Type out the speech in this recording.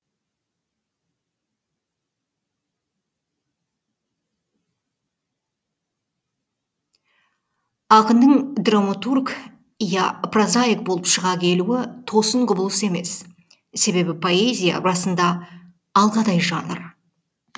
ақынның драматург я прозаик болып шыға келуі тосын құбылыс емес себебі поэзия расына алғадай жанр